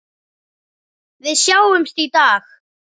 Við sjáumst í dag.